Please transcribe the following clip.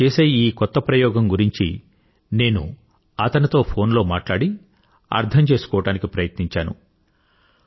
అతడు చేసే ఈ కొత్త ప్రయోగం గురించి నేను అతనితో ఫోన్ లో మాట్లాడి అర్థం చేసుకోవడానికి ప్రయత్నించాను